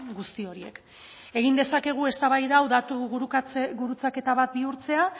guzti horiek egin dezakegu eztabaida hau datu gurutzaketa bat bihurtzea